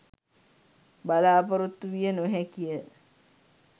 බලාපොරොත්තු විය නොහැකි ය.